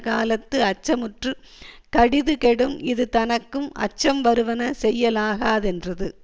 காலத்து அச்சமுற்றுக் கடிதுகெடும் இது தனக்கும் அச்சம் வருவன செய்யலாகாதென்றது